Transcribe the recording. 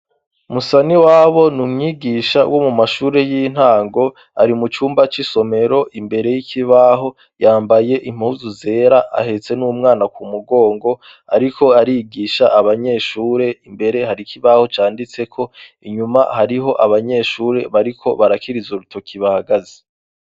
musaniwabo ni umwigisha wo mumashuri y'intango ari mu cumba c'isomero imbere y'ikibaho yambaye impuzu zera ahetse n'umwana ku mugongo ariko arigisha abanyeshure imbere hari kibaho canditse ko inyuma hariho abanyeshuri bariko barakiriza urutoki bahagaze